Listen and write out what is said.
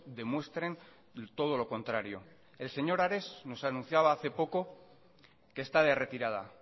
demuestren todo lo contrario el señor ares nos anunciaba hace poco que está de retirada